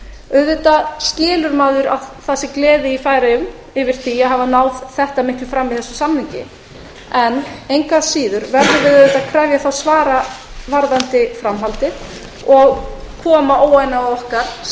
auðvitað skilur maður að það sé gleði í færeyjum yfir því að hafa náð þetta miklu fram í þessum samningi en engu að síður verðum við að krefja þá svara um framhaldið og koma óánægju okkar